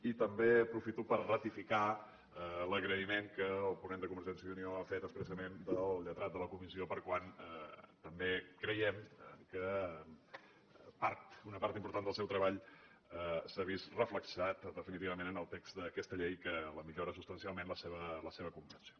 i també aprofito per ratificar l’agraïment que el ponent de convergència i unió ha fet expressament al lletrat de la comissió ja que també creiem que una part important del seu treball s’ha vist reflectida definitivament en el text d’aquesta llei que millora substancialment la seva comprensió